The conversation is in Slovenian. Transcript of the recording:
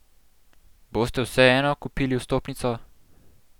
Boste vseeno kupili vstopnico?